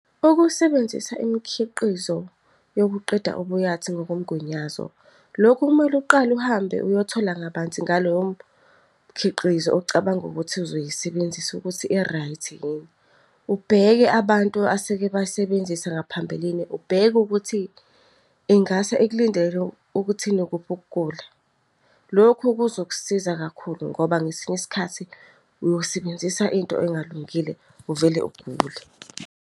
Ukusebenzisa imikhiqizo yokuqeda ubuyathi ngokomgunyazo, lokhu kumele uqale uhambe uyothola kabanzi ngalowo mkhiqizo ocabanga ukuthi uzoyisebenzisa ukuthi i-right-i yini. Ubheke abantu aseke bayisebenzisa ngaphambilini, ubheke ukuthi ingase ikulindele ukuthi inokuphi ukugula. Lokhu kuzokusiza kakhulu ngoba ngesinye isikhathi uyosebenzisa into engalungile uvele ugule.